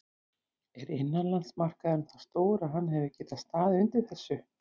Er innanlandsmarkaðurinn það stór að hann hefði getað staðið undir þessu?